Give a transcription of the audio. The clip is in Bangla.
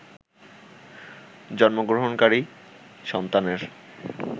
জন্মগ্রহণকারী সন্তানের